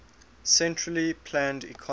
centrally planned economy